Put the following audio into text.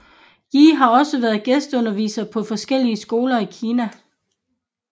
Yi har også været gæsteunderviser på forskellige skoler i Kina